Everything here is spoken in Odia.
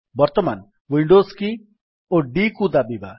ବର୍ତ୍ତମାନ ୱିଣ୍ଡୋଜ୍ କି ଓ D କୁ ଦାବିବା